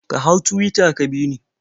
Ka hau Tuwita ka bi ni.